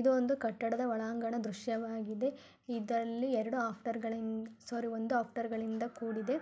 ಇದು ಒಂದು ಕಟ್ಟಡದ ಒಳಾಂಗಣ ದೃಶ್ಯವಾಗಿದೆ ಇದರಲ್ಲಿ ಎರೆಡು ಆಫ್ಟರ್ಗಳಿನ ಸೊರಿ ಒಂದು ಆಫ್ಟರ್ಗಳಿಂದ ಕೂಡಿದೆ